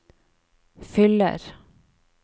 fyller